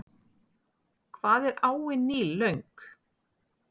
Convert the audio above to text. Hvað er áin Níl löng?